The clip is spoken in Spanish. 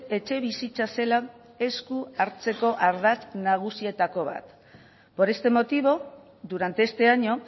etxebizitza zela esku hartzeko ardatz nagusienetako bat por este motivo durante este año